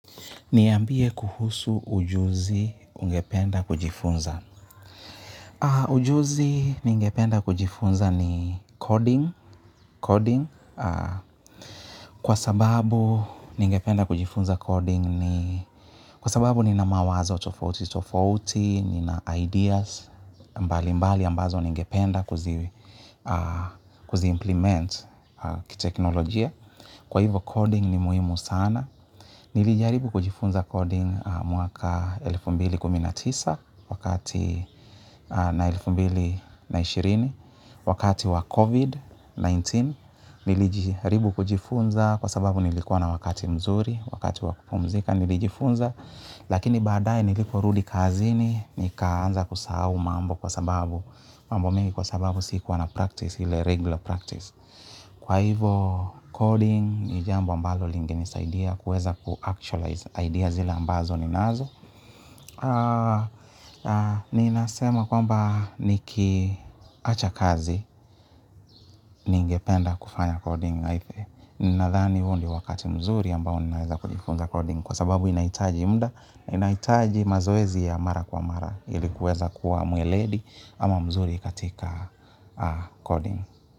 Niambie kuhusu ujuzi ungependa kujifunza. Ujuzi ningependa kujifunza ni coding. Kwa sababu, ningependa kujifunza coding ni kwa sababu, nina mawazo tofauti, tofauti, nina ideas. Mbalimbali, ambazo ningependa kuzi implement kiteknolojia. Kwa hivo, coding ni muhimu sana. Nilijaribu kujifunza coding mwaka elfu mbili kumi na tisa wakati na elfu mbili na ishirini wakati wa COVID-19. Nilijaribu kujifunza kwa sababu nilikuwa na wakati mzuri wakati wakupumzika. Nilijifunza lakini badae niliporudi kazini nikaanza kusahau mambo kwa sababu mambo mengi kwa sababu siikuwa na practice ili regular practice. Kwa hivyo, coding ni jambo ambalo lingenisaidia kuweza kuactualize ideas zile ambazo ninazo. Ninasema kwamba nikiacha kazi ningependa kufanya coding. Ninadhani huu ndio wakati mzuri ambao ninaweza kujifunza coding kwa sababu inahitaji muda, inahitaji mazoezi ya mara kwa mara ili kuweza kuwa mweledi ama mzuri katika coding.